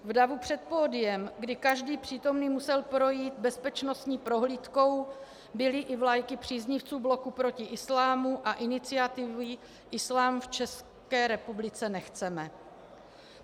V davu před pódiem, kdy každý přítomný musel projít bezpečnostní prohlídkou, byly i vlajky příznivců Bloku proti islámu a iniciativy Islám v České republice nechceme.